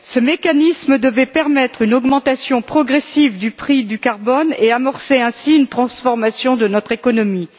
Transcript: Ce mécanisme devait permettre une augmentation progressive du prix du CO2 et amorcer ainsi une transformation de notre économie.